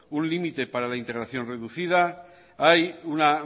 un límite para interacción reducida hay una